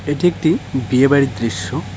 এটি একটি বিয়েবাড়ির দৃশ্য।